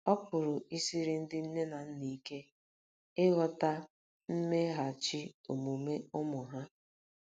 Ọ pụrụ i siri ndị nne na nna ike ịghọta mmeghachi omume ụmụ ha.